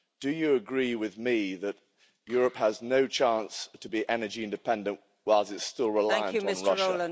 Do you agree with me that Europe has no chance to be energy independent while it is still reliant on Russia?